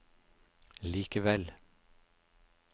likevel